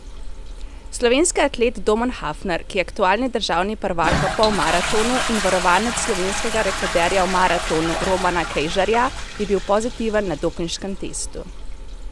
Slovenski atlet Domen Hafner, ki je aktualni državni prvak v polmaratonu in varovanec slovenskega rekorderja v maratonu Romana Kejžarja, je bil pozitiven na dopinškem testu.